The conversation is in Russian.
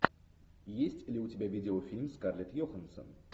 есть ли у тебя видеофильм скарлетт йоханссон